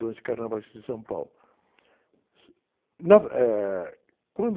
de carnavais de São Paulo. Na ver, eh, quando...